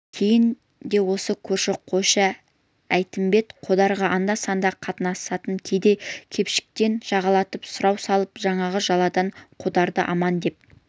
кейін де осы көрші қойшы әйтімбет қодарға анда-санда қатынасатын кедей-кепшіктен жағалатып сұрау салып жаңағы жаладан қодарды аман деп